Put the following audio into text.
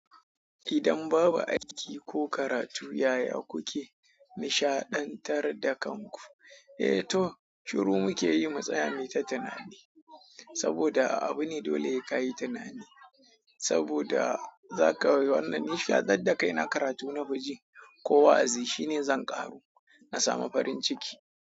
Idan babu aiki ko karatu, yaya kuke nishaɗantar da kanku? Eh to shiru muke yi mu tsaya muyi ta tunane saboda abu ne dole hai ka yi tunani saboda za ka yi wannan nishaɗantar da kaina karatu na fi ji ko wa'azi shine zan ƙaru na samu farin ciki.